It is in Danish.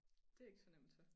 Det er ikke så nemt så